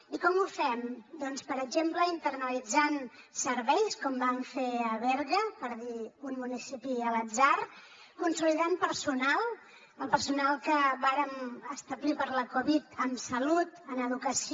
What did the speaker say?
i com ho fem doncs per exemple internalitzant serveis com vam fer a berga per dir un municipi a l’atzar consolidant personal el personal que vàrem establir per la covid en salut en educació